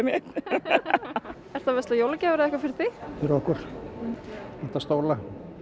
ertu að versla jólagjafir eða eitthvað fyrir þig fyrir okkur vantar stóla